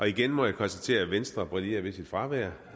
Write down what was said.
igen må jeg konstatere at venstre brillerer med sit fravær